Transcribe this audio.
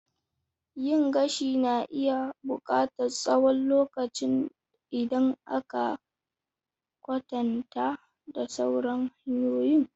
Yin gashi na iya buƙatar tsawon lokacin idan aka kwatanta da sauran hanyoyin.